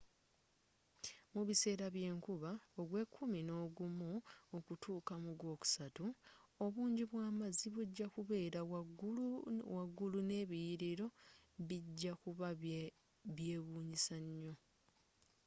mu biseera by'enkuba ogwekumi nogumu okutuuka mu gwokusatu obungi bw'amazzi bugya kubeera waggulu n’ebiliyiliro bigya kuba byewunyisa nyo